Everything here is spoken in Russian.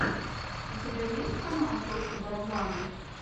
у тебя есть канал просто барабанов